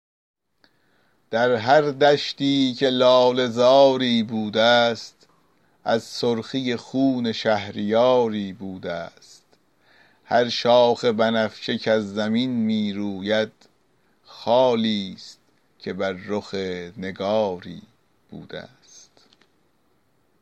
در هر دشتی که لاله زاری بوده ست از سرخی خون شهریاری بوده ست هر شاخ بنفشه کز زمین می روید خالی ست که بر رخ نگاری بوده ست